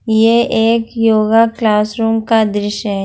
ये एक yoga classroom का दृश्य है।